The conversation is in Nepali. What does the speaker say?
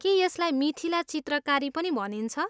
के यसलाई मिथिला चित्रकारी पनि भनिन्छ?